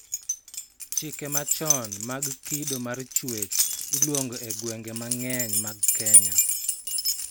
Chike machon mag kido mar chuech iluongo e gwenge mang'eny mag Kenya